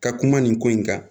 Ka kuma nin ko in kan